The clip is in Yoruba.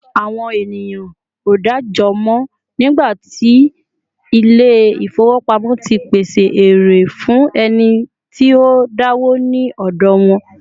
àwọn ènìyàn o da'jọ mọ, nigba ti ilé ifowópamọ́ ti pèsè eré fún ẹni tí o dawo ní òdò wan